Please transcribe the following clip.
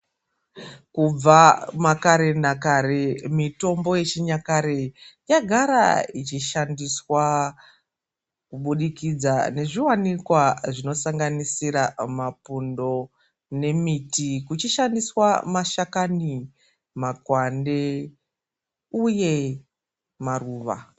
Kubva makare nakare, mitombo yechinyakare yagara ichishandiswa kubudikidza nezviwanikwa zvinosanganisira mapundo nemiti kuchishandiswa mashakani, makwande uye maruva.